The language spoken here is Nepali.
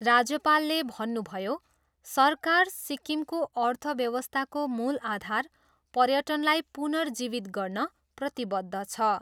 राज्यपालले भन्नुभयो, सरकार, सिक्किमको अर्थव्यवस्थाको मूल आधार पर्यटनलाई पुनर्जीवित गर्न प्रतिबद्ध छ।